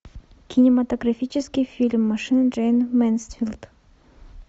кинематографический фильм машина джейн мэнсфилд